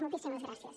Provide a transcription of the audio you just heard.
moltíssimes gràcies